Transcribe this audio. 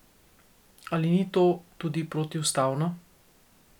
Ali ni to tudi protiustavno?